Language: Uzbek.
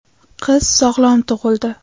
Qiz sog‘lom tug‘ildi.